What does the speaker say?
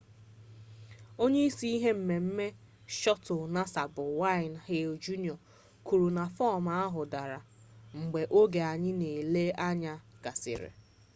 onye isi ihe mmemme shọtụl nasa bụ wayne hale jr kwuru na fom ahụ dara mgbe oge anyị na-ele anya gasịrị